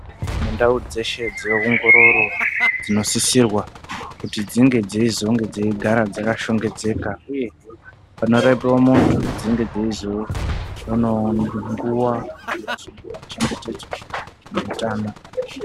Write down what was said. Ndau dzeshe dzeongororo dzinosisirwa kunge dzigare dzakashongedzeka uye panosisirwa kuti dzinge dzeizoonawo nguwa kuti vachengetedze hutano.